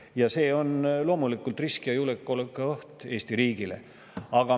Ja see on loomulikult risk ja julgeolekuoht Eesti riigile.